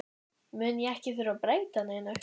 mun ég ekki þurfa að breyta neinu.